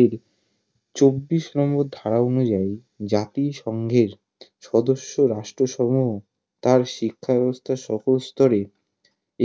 এর চব্বিশ নম্বর ধারা অনুযায়ী জাতিসংঘের সদস্য রাষ্ট্রসমুহ তার শিক্ষাব্যবস্থার সকল স্তরে